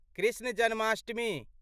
Krishna Janmashtami